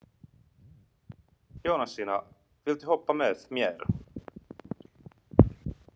Jónasína, viltu hoppa með mér?